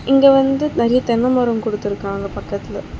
இங்க வந்து நெறைய தென்ன மரம் குடுத்துருக்காங்க பக்கத்துல.